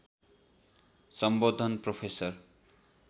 सम्बोधन प्रोफेसर